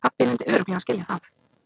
Pabbi myndi örugglega skilja það.